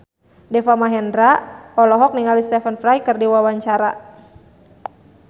Deva Mahendra olohok ningali Stephen Fry keur diwawancara